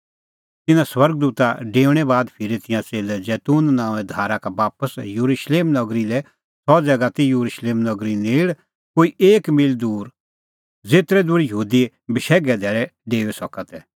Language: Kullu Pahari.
तिन्नां स्वर्ग दूता डेऊणैं बाद फिरै तिंयां च़ेल्लै जैतून नांओंए धारा का बापस येरुशलेम नगरी लै सह ज़ैगा ती येरुशलेम नगरी नेल़ कोई एक मील दूर ज़ेतरै दूर यहूदी बशैघे धैल़ै डेऊई सका तै